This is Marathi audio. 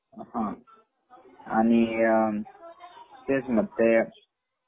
हाआणि , तेच मग ते